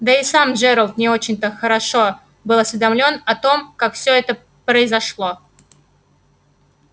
да и сам джералд не очень-то хорошо был осведомлен о том как всё это произошло